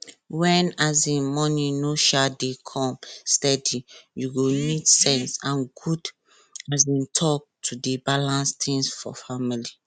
when um money no um dey come steady you go need sense and good um talk to dey balance things for family